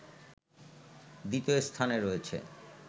দ্বিতীয় স্থানে রয়েছে